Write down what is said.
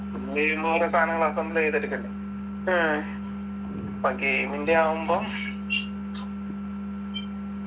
ഇന്ത്യയിന്ന് ഓരോ സാധനങ്ങൾ assemble ചെയ്തെടുക്കണ്ടേ അപ്പൊ game ൻ്റെ ആവുമ്പം